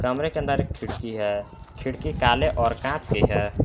कमरे के अंदर एक खिड़की है खिड़की काले और कांच की है।